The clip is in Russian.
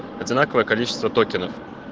одинаковое количество токенов